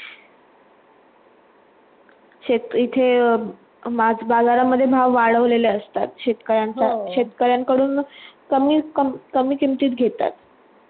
तिथे माझ्या बाजारामध्ये भाव वाढवलेले असतात. शेतकऱ्य यांचा शेतकऱ्यांकडून कमी कमी किंमतीत घेतात